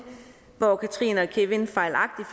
hvor katrine og kevin fejlagtigt